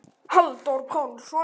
Halldór Pálsson